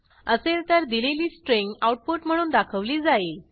असेल तर दिलेली स्ट्रिंग आऊटपुट म्हणून दाखवली जाईल